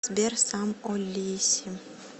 сбер сам о лиси